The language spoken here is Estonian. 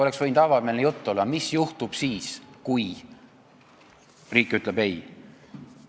Oleks võinud olla avameelne jutt, et mis juhtub siis, kui riik ütleb ei.